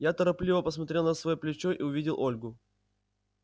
я торопливо посмотрел на своё плечо и увидел ольгу